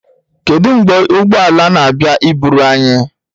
Kedu mgbe ụgbọ ala na-abịa iburu anyị?